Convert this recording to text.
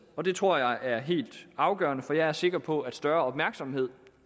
og det tror jeg er helt afgørende for jeg er sikker på at større opmærksomhed